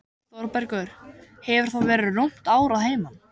Þórbergur hefur þá verið rúmt ár að heiman.